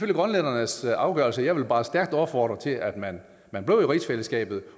grønlændernes afgørelse men jeg vil bare stærkt opfordre til at man man bliver i rigsfællesskabet